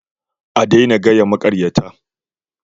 A daina gaya maƙaryata